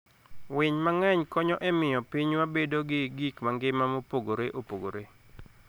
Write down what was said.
winy mang'eny konyo e miyo pinywa bedo gi gik mangima mopogore opogore.